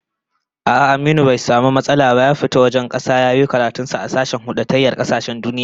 A'a, Aminu bai samu matsala ba ya fita wajen kasa ya yiwo karatun sa a sashen huldatayyar kasashen duniya